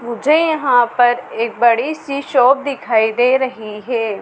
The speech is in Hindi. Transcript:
मुझे यहां पर एक बड़ी सी शॉप दिखाई दे रही है।